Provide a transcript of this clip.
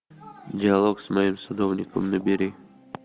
диалог с моим садовником набери